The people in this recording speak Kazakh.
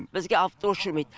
бізге автобус жүрмейді